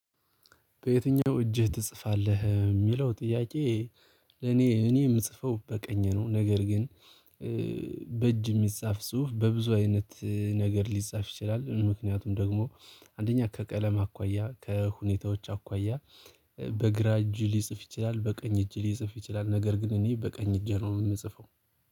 በየትኛው እጅህ ትጽፋለህ የሚለው ጥያቄ? ለኔ እኔ የምጽፈው በቀኝ ነው ነገር ግን። በእጅ የሚጻፍ ጽሁፍ በብዙ አይነት ነገር ሊጻፍ ይችላል። ምክንያቱም ደግሞ አንደኛ ከቀለም አኳያ ከሁኔታዎች አኳያ። በግራ እጅ ሊጽፍ ይችላል በቀኝ እጅ ሊጽፍ ይችላል ነገር ግን እኔ በቀኝ እጅ ነው የምጽፈው።